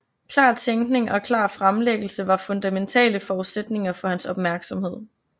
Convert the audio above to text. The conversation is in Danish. Klar tænkning og klar fremlæggelse var fundamentale forudsætninger for hans opmærksomhed